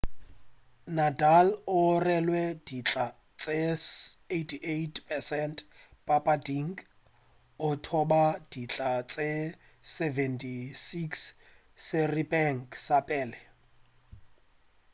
nadal o rwele dintlha tše 88% papading a thopa dintlha tše 76 seripeng sa pele